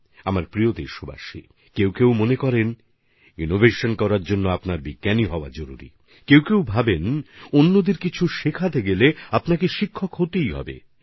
আমার প্রিয় দেশবাসী কিছু মানুষ মনে করেন যে উদ্ভাবনের জন্য বৈজ্ঞানিক হওয়া প্রয়োজন কেউ কেউ ভাবেন যে অন্যকে কিছু শেখানোর জন্য শিক্ষক হওয়া চাই